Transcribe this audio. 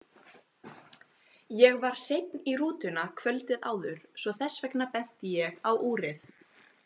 Ég var seinn í rútuna kvöldið áður svo þess vegna benti ég á úrið.